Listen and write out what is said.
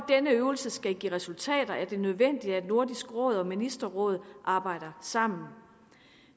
denne øvelse skal give resultater er det nødvendigt at nordisk råd og ministerrådet arbejder sammen